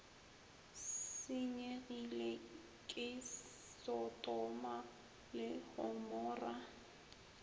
senyegile ke sotoma le gomora